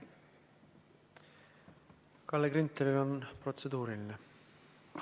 Kalle Grünthalil on protseduuriline küsimus.